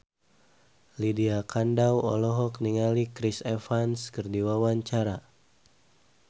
Lydia Kandou olohok ningali Chris Evans keur diwawancara